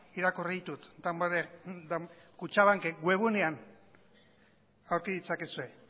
irakurri ditut damborenea kutxabanken webgunean aurki ditzakezue